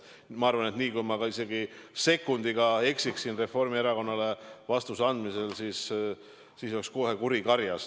Ma arvan, et kui ma isegi sekundiga eksiksin Reformierakonnale vastuse andmisel, siis oleks kohe kuri karjas.